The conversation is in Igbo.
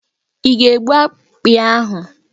Ị ga-egbu akpị ahụ?